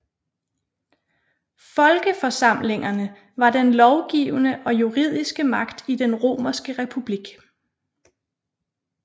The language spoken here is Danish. Folkeforsamlingerne var den lovgivende og juridiske magt i den romerske republik